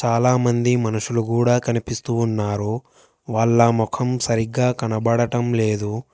చాలామంది మనుషులు గూడా కనిపిస్తూ ఉన్నారు. వాళ్ళ మొఖం సరిగ్గా కనబడటం లేదు.